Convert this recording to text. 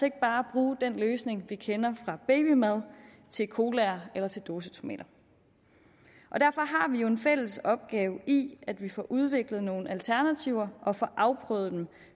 ikke bare bruge den løsning vi kender fra babymad til colaer eller til dåsetomater derfor har vi jo en fælles opgave i forhold at vi får udviklet nogle alternativer og får afprøvet dem